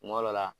Kuma dɔ la